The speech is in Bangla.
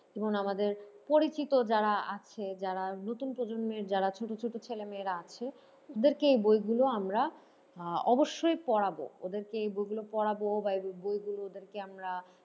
এবং আমাদের পরিচিত যারা আছে যারা নতুন প্রজন্মের যারা ছোট ছোট ছেলেমেয়েরা আছে ওদেরকে বইগুলো আমরা আহ অবশ্যই পড়াবো ওদেরকে এই বইগুলো পড়াবো বা এই বইগুলো ওদেরকে আমরা,